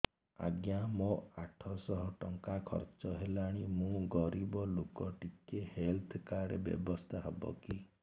ଆଜ୍ଞା ମୋ ଆଠ ସହ ଟଙ୍କା ଖର୍ଚ୍ଚ ହେଲାଣି ମୁଁ ଗରିବ ଲୁକ ଟିକେ ହେଲ୍ଥ କାର୍ଡ ବ୍ୟବସ୍ଥା ହବ କି